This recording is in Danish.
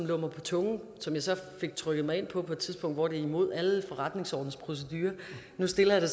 på tungen som jeg så fik trykket mig ind på på et tidspunkt hvor det var imod alle forretningsordenens procedurer nu stiller jeg det